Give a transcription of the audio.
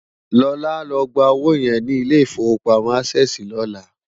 Lola á lò gbá ówó yèn ni Ilé Ifówópámò ásèsi lòlá